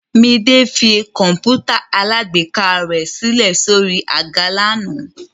Midé fi kọ̀ǹpútà alágbèéká rẹ̀ sílẹ̀ sórí àga lánàá.